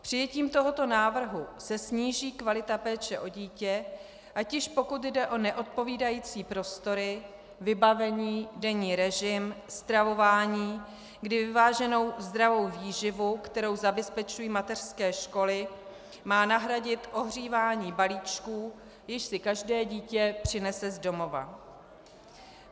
Přijetím tohoto návrhu se sníží kvalita péče o dítě, ať již pokud jde o neodpovídající prostory, vybavení, denní režim, stravování, kdy vyváženou zdravou výživu, kterou zabezpečují mateřské školy, má nahradit ohřívání balíčků, jež si každé dítě přinese z domova.